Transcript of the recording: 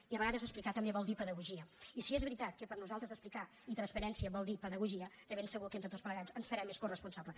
i a vegades explicar també vol dir pedagogia i si és veritat que per nosaltres explicar i transparència volen dir pedagogia de ben segur que entre tots plegats ens farem més coresponsables